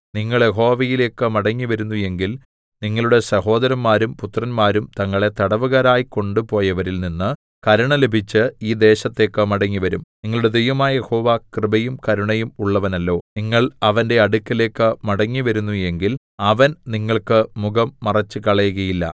നിങ്ങൾ യഹോവയിലേക്ക് മടങ്ങിവരുന്നു എങ്കിൽ നിങ്ങളുടെ സഹോദരന്മാരും പുത്രന്മാരും തങ്ങളെ തടവുകാരായി കൊണ്ട് പോയവരിൽ നിന്ന് കരുണ ലഭിച്ച് ഈ ദേശത്തേക്ക് മടങ്ങിവരും നിങ്ങളുടെ ദൈവമായ യഹോവ കൃപയും കരുണയും ഉള്ളവനല്ലോ നിങ്ങൾ അവന്റെ അടുക്കലേക്ക് മടങ്ങിവരുന്നു എങ്കിൽ അവൻ നിങ്ങൾക്ക് മുഖം മറച്ചുകളകയില്ല